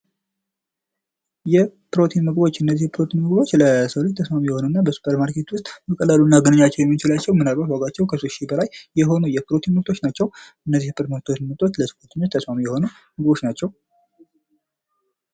የፕሮቲን ምግቦች እነዚህ የፕሮቲን ምግቦች ለሰውነት ተስማሚ የሆኑ እና በሱፐርማርኬት ዉስጥ በቀላሉ ልናገኛቸው የምንችላቸው የፕሮቲን ምርቶች ናቸው። እነዚህ የፕሮቲን ምርቶች ለሰዉነት ተስማሚ የሆኑ ምርቶች ናቸው።